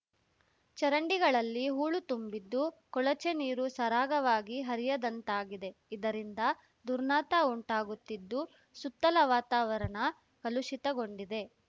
ಚರಂಡಿಗಳಲ್ಲಿ ಹೂಳು ತುಂಬಿದ್ದು ಕೊಳಚೆ ನೀರು ಸರಾಗವಾಗಿ ಹರಿಯದಂತಾಗಿದೆ ಇದರಿಂದ ದುರ್ನಾತ ಉಂಟಾಗುತ್ತಿದ್ದು ಸುತ್ತಲ ವಾತಾವರಣ ಕಲುಷಿತಗೊಂಡಿದೆ